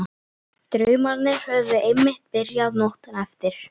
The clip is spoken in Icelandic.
Draumarnir höfðu einmitt byrjað nóttina eftir.